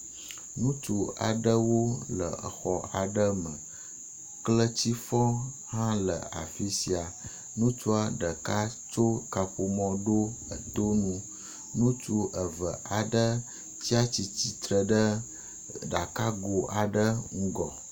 Ŋutsu aɖewo le exɔ aɖe me. Kletifɔ hã le afi sia. Ŋutsua ɖeka tso kaƒomɔ ɖo eto nu. Ŋutsu eve aɖe tsia tsitre ɖe ɖakago aɖe ŋgɔ.